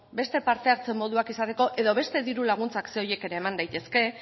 beste parte hartze moduak izateko edo beste diru laguntzak ze horiek ere eman daitezke